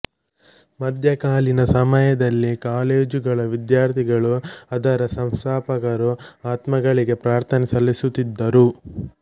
ಮಧ್ಯಕಾಲೀನ ಸಮಯದಲ್ಲಿ ಕಾಲೇಜ್ ಗಳ ವಿದ್ಯಾರ್ಥಿಗಳು ಅದರ ಸಂಸ್ಥಾಪಕರ ಆತ್ಮಗಳಿಗೆ ಪ್ರಾರ್ಥನೆ ಸಲ್ಲಿಸುತ್ತಿದ್ದರು